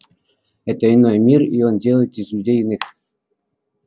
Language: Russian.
это иной мир и он делает из людей иных